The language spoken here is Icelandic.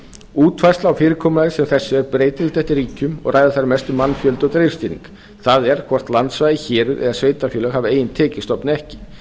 útfærsla á fyrirkomulagi sem þessu er breytilegt eftir ríkjum og ræður þar mestu mannfjöldi og stýring það er hvort landsvæði héruð eða sveitarfélög hafa ein tekjustofn eða ekki